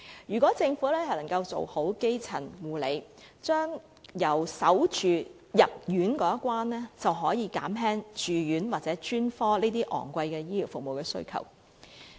如果政府能夠做好基層護理工作，在市民有需要入院前已好好把關，便可以減少住院或專科這些昂貴的醫療服務需求。